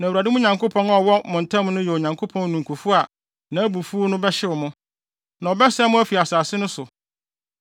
na Awurade mo Nyankopɔn a ɔwɔ mo ntam no yɛ Onyankopɔn ninkufo a nʼabufuw no bɛhyew mo, na ɔbɛsɛe mo afi asase no so.